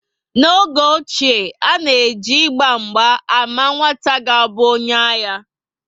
N'oge mgbe ochie, a na eji Ịgba mgba ámá nwata ga abụ onye agha